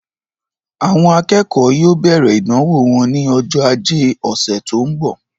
Àwọn akẹ́kọ̀ọ́ yóò bẹ̀rẹ̀ ìdánwò wọn ní ọjọ́ ajé ọ̀sẹ̀ tó ń bọ̀.